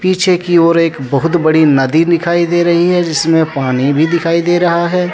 पीछे की ओर एक बहुत बड़ी नदी दिखाई दे रही है जिसमें पानी भी दिखाई दे रहा है।